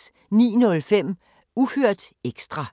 09:05: Uhørt ekstra